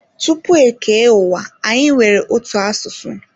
Tupu e kee ụwa anyi nwere otu asụsụ.